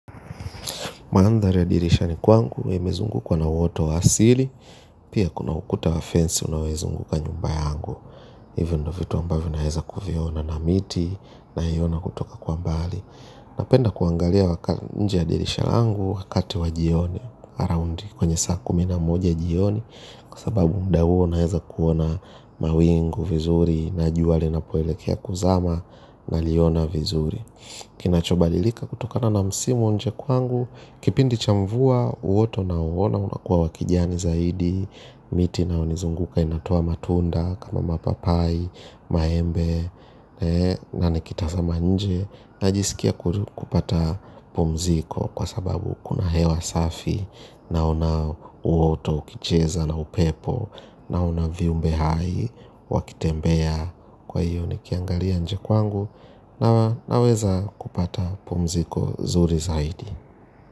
Maandhari ya dirishani kwangu, imezungukwa na woto wa asili, pia kuna ukuta wafensi unaoizunguka nyumbaya yangu. Hivyo ndio vitu ambavyo naweza kuviona na miti, na hi ona kutoka kwa mbali. Napenda kuangalia waka nje ya dirisha yangu, wakati wa jioni, around kwenye saa kumi na moja jioni, kwsababu muda huo naweza kuona mawingu vizuri, na jua linapoelekea kuzama, naliona vizuri. Kinachobalilika kutokana na msimu nje kwangu kipindi cha mvua uoto na uona unakuwa wakijiani zaidi. Miti inayo nizunguka inatoa matunda kama mapapai, maembe. Na nikitazama nje najisikia kupata pumziko kwa sababu kuna hewa safi. Na una uoto, ukicheza na upepo. Naona viumbe hai, wakitembea. Kwa hiyo nikiangalia nje kwangu naweza kupata pumziko zuri zaidi.